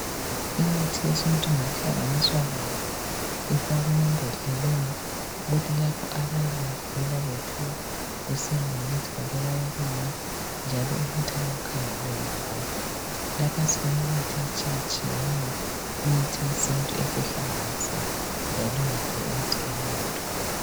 Imithi yesintu ngokuhlanganiswa kwayo ifakwe emambodleleni ukuthi labo abayabe begula bephiwa kusiya ngokuthi babulawa kuyini njalo umuthi abawukhangeleyo ngowani. Lapha sibona imithi etshiyetshiyeneyo. Imithi yesintu esihlanganisiwe yalungela ukuthi inathwe.